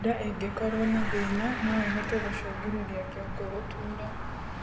Ndaa ĩngĩkorwo na thina noĩhote gũcũngĩrĩrĩa kĩongo gutuura